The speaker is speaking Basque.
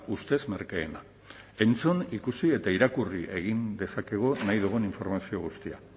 ustez merkeena entzun ikusi eta irakurri egin dezakegu nahi dugun informazio guztia